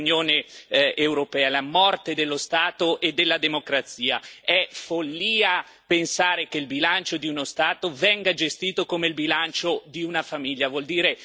È follia pensare che il bilancio di uno Stato venga gestito come il bilancio di una famiglia vuol dire avere ignoranza e non capire come funziona il bilancio di uno Stato.